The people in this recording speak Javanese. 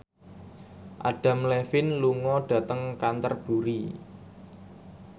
Adam Levine lunga dhateng Canterbury